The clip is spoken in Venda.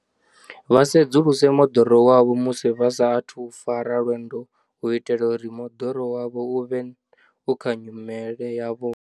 Vha sedzuluse moḓoro wavho musi vha sa athu u fara lwendo u itela uri moḓoro wavho u vhe u kha nyimele yavhuḓi.